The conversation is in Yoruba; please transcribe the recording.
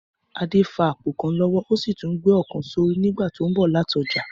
Adé fa àpò kan lọ́wọ́ ó sì tún gbé ọ̀kan sórí nígbà tó ń bọ̀ láti ọjà